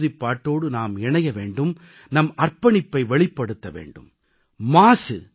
இந்த ஆகஸ்ட் மாத உறுதிப்பாட்டோடு நாம் இணைய வேண்டும் நம் அர்ப்பணிப்பை வெளிப்படுத்த வேண்டும்